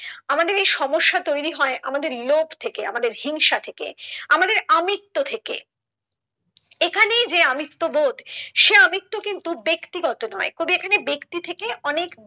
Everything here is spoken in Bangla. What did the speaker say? আমাদের এই সমস্যা তৈরি হয় আমাদের লোভ থেকে আমাদের হিংসা থেকে আমাদের আমিত্ব থেকে এখানেই যে আমিত্ব বোধ সে আমিত্ব কিন্তু ব্যাক্তিগত নয় কবি এখানে ব্যাক্তি থেকে অনেক